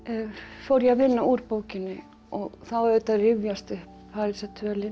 fór ég að vinna úr bókinni og þá auðvitað rifjast upp